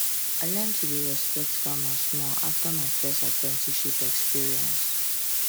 i learn to dey respect farmers more after my first apprenticeship experience